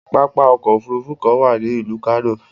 Pápá ọkọ̀ òfurufú kan wà ni ilu Kano